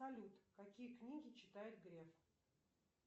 салют какие книги читает греф